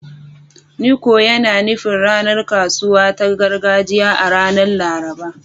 "Nkwo" yana nufin ranar kasuwa ta gargajiya a ranar Laraba.